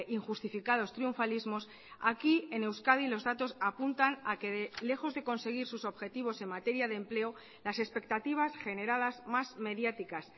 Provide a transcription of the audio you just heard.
injustificados triunfalismos aquí en euskadi los datos apuntan a que lejos de conseguir sus objetivos en materia de empleo las expectativas generadas más mediáticas